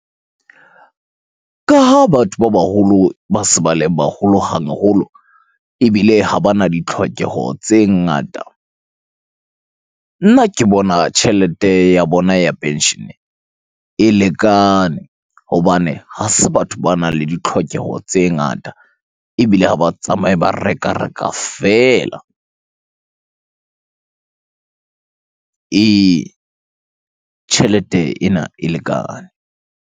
Ka ha batho ba baholo ba se ba le baholo haholo, ebile ha bana di tlhokeho tse ngata. Nna ke bona tjhelete ya bona ya penshene e lekane hobane ha se batho banang le di tlhokeho tse ngata ebile ha ba tsamaye ba reka, reka feela. Ee, tjhelete ena e lekane.